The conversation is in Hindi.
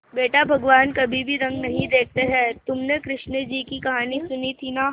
बेटा भगवान कभी रंग नहीं देखते हैं तुमने कृष्ण जी की कहानी सुनी थी ना